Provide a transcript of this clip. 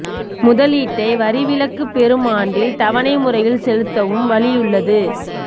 முதலீட்டை வரி விலக்கு பெறும் ஆண்டில் தவணை முறையில் செலுத்தவும் வழியுள்ளது